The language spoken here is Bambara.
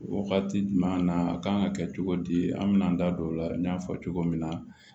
Wagati jumɛn na a kan ka kɛ cogo di an bɛn'an da don o la n y'a fɔ cogo min na